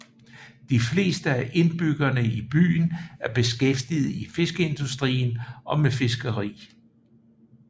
De fleste af indbyggerne i byen er beskæftiget i fiskeindustrien og med fiskeri